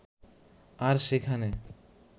আর সেখানে